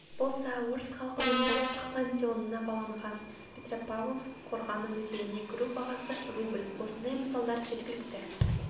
болса орыс халқының ұлттық пантеонына баланған петропавлск қорғаны музейіне кіру бағасы рубль осындай мысалдар жеткілікті